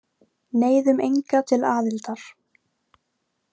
Neyðum enga til aðildar